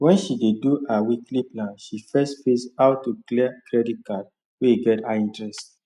when she dey do her weekly plan she first face how to clear credit card wey get high interest